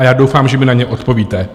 A já doufám, že mi na ně odpovíte.